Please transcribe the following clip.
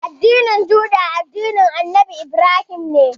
Addinin Juda, addinin Annabi Ibrahim ne.